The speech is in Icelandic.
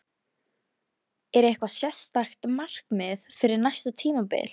Er eitthvað sérstakt markmið fyrir næsta tímabil?